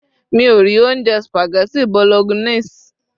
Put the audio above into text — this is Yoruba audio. mi o ri ounjẹ spaghetti bolognese